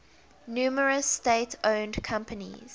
numerous state owned companies